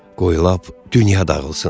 Qoy lap dünya dağılsın.